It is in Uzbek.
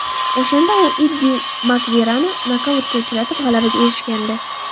O‘shanda u Iddi Makverani nokautga uchratib g‘alabaga erishgandi.